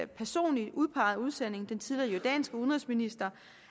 personligt udpegede udsending den tidligere jordanske udenrigsminister